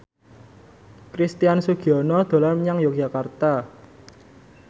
Christian Sugiono dolan menyang Yogyakarta